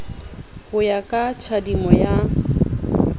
ho ya ka tjhadimo ya